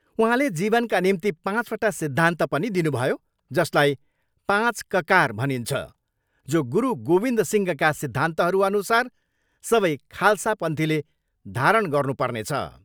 उहाँले जीवनका निम्ति पाँचवटा सिद्धान्त पनि दिनुभयो जसलाई पाँच ककार भनिन्छ जो गुरु गोविन्द सिंहका सिद्धान्तहर अनुसार सबै खाल्सा पन्थीले धारण गर्नु पर्नेछ।